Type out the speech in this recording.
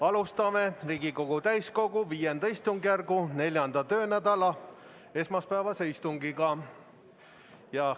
Alustame Riigikogu täiskogu V istungjärgu 4. töönädala esmaspäevast istungit.